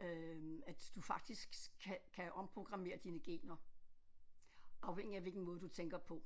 øh at du faktisk kan kan omprogrammere dine gener afhængig af hvilken måde du tænker på